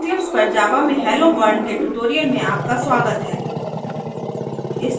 eclipse पर java में helloworld के tutorial में आपका स्वागत हैं